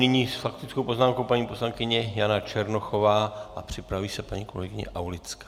Nyní s faktickou poznámkou paní poslankyně Jana Černochová a připraví se paní kolegyně Aulická.